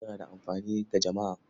Rediyo yana da amfani ga jama'a.